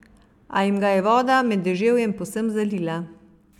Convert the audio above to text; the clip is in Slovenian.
A jim ga je voda med deževjem povsem zalila.